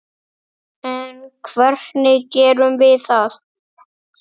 En hvernig gerum við það?